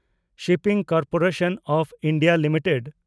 shipping corporation of India limited